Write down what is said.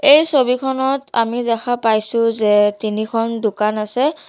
এই ছবিখনত আমি দেখা পাইছোঁ যে তিনিখন দোকান আছে।